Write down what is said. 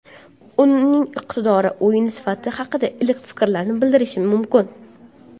Uning iqtidori, o‘yin sifati haqida iliq fikrlarni bildirishim mumkin.